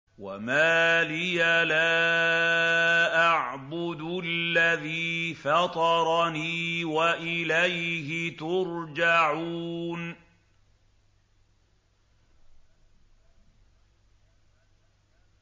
وَمَا لِيَ لَا أَعْبُدُ الَّذِي فَطَرَنِي وَإِلَيْهِ تُرْجَعُونَ